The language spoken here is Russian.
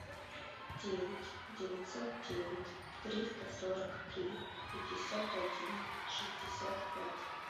девять девятьсот девять триста сорок три пятьдесят один шестьдесят пять